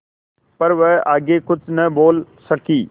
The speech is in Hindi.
पर वह आगे कुछ न बोल सकी